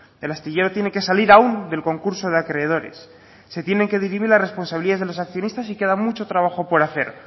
el astillero tiene que salir aún del concurso de acreedores se tienen que dirimir la responsabilidad de los accionistas y queda mucho trabajo por hacer